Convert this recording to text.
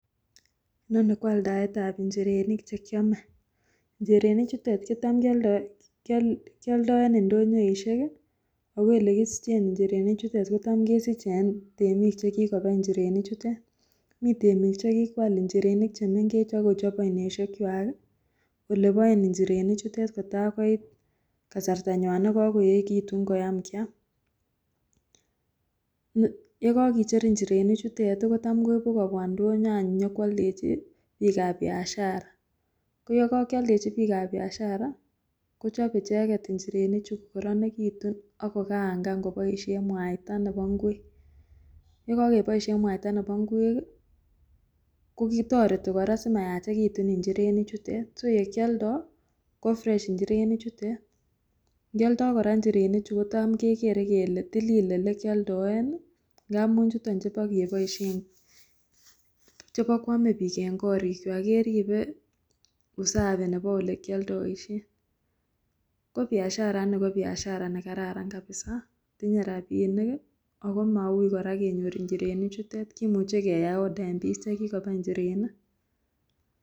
noni koaldaetab njirenik chekiome njirenik chutet kotam kioldo kioldo eng ndonyoisiek ako elekisichen njirenik chutet kotam kesiche en temiik chekikobai njirenik chutet mii temiik chekikoal njirenik chemengech akochob oinosiek kwak ih oleboen njirenik chutet kotai koit kasartanywan nekakoyeekitun koyam kiam, yekokicher njirenik chutet ih kotam koibu kobwa ndonyo any nyokwoldechi biikab biashara koyekokioldechi biikab biashara kochebe icheket njirenichu akokaangaan koboisien mwaita nebo ngwek, yekokeboisien mwaita nebo ngwek ih kotoreti kora simyachekitun njirenik chutet so yekioldoo ko fresh njirenik chutet ngioldo kora njirenik chut kotam kekere kele tilil elekioldoeni amun chuton chebokenoisien chebokoame biik eng korik kwak keribe usafi nebo olekioldoisien. Ko biashara ini ko biashara nekaran kabisa tinye rapinik ih ako maui kora kenyor njirenik chutet kimuche keyai order en biik chekikobai njirenik